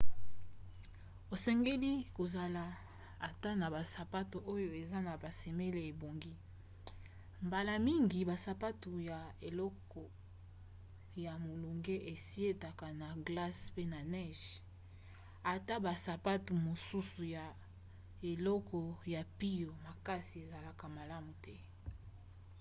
osengeli kozala ata na basapatu oyo eza na basemele ebongi. mbala mingi basapatu ya eleko ya molunge esietaka na glace pe na neige ata basapatu mosusu ya eleko ya mpio makasi ezalaka malamu te